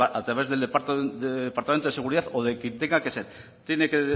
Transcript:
a través del departamento de seguridad o de quien tenga que ser tiene que